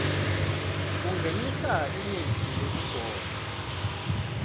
kungenisa imitsi yekugoma